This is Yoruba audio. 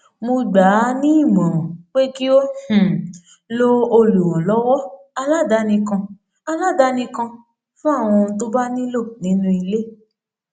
mo gbà á nímòràn pé kí ó um lo olùrànlówó aládani kan aládani kan fún àwọn ohun tó bá nílò nínú ilé